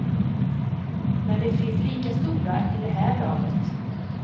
Men det finns lika stora i det här laget.